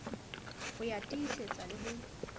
ho ya tiisetsa le ho